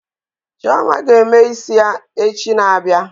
Chioma ga-eme isi ya echi na-abịa